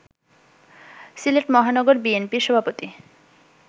সিলেট মহানগর বিএনপির সভাপতি